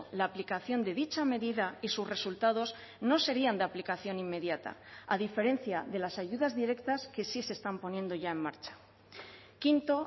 la aplicación de dicha medida y sus resultados no serían de aplicación inmediata a diferencia de las ayudas directas que sí se están poniendo ya en marcha quinto